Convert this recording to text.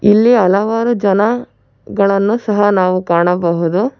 ಇಲ್ಲಿ ಹಲವಾರು ಜನ ಗಳನ್ನು ಸಹ ನಾವು ಕಾಣಬಹುದು.